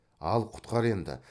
ал құтқар енді